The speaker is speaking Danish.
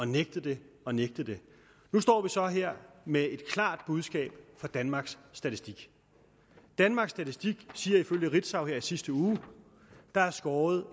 nægtet det og nægtet det nu står vi så her med et klart budskab fra danmarks statistik danmarks statistik siger ifølge ritzau i sidste uge at der er skåret